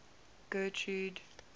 getrude